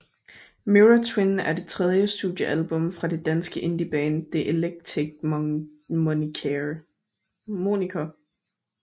Mirror Twin er det tredje studiealbum fra det danske indieband The Eclectic Moniker